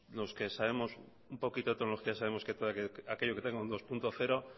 los que sabemos un poquito de tecnología sabemos que todo aquello que tenga un dos punto cero